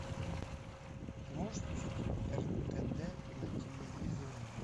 ты можешь включить ртд на телевизоре